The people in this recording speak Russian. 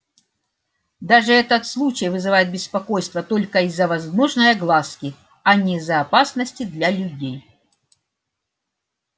даже этот случай вызывает беспокойство только из-за возможной огласки а не из-за опасности для людей